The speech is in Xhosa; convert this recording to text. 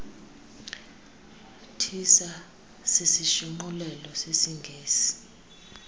tissa sisishunqulelo sesingesi